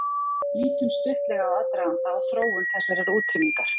Lítum stuttlega á aðdraganda og þróun þessarar útrýmingar.